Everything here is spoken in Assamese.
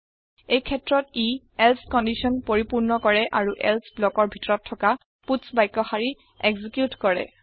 এই ক্ষেত্ৰত ই এলছে কন্দিচন পৰিপূৰ্ণ কৰে আৰু এলছে ব্লকৰ ভিতৰত থকা পাটছ বাক্য শাৰী এক্সেকিউত কৰে